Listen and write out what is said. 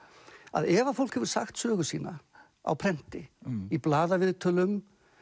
að ef fólk hefur sagt sögu sína á prenti í blaðaviðtölum